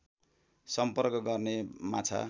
सम्पर्क गर्ने माछा